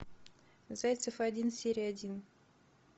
зайцев один серия один